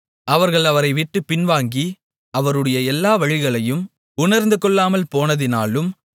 அவர்கள் அவரைவிட்டுப் பின்வாங்கி அவருடைய எல்லா வழிகளையும் உணர்ந்துகொள்ளாமல் போனதினாலும்